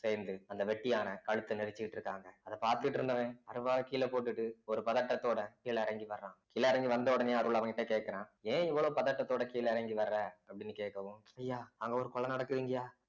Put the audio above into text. சேர்ந்து அந்த வெட்டியான கழுத்தை நெரிச்சுக்கிட்டு இருக்காங்க அதப் பார்த்துட்டு இருந்தவன் அருவாளை கீழே போட்டுட்டு ஒரு பதட்டத்தோட கீழே இறங்கி வர்றான் கீழ இறங்கி வந்தவுடனே அருள் அவங்க கிட்ட கேக்குறான் ஏன் இவ்வளவு பதட்டத்தோட கீழ இறங்கி வர அப்படின்னு கேட்கவும் ஐயா அங்க ஒரு கொலை நடக்குதுங்கய்யா